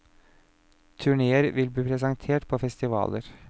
Turnéer vil bli presentert på festivaler.